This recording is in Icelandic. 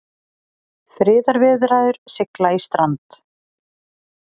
Friðarviðræður sigla í strand